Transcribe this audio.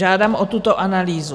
Žádám o tuto analýzu.